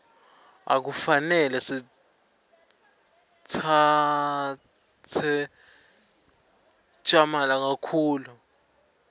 akufanele sitsabze tjamala kakhulu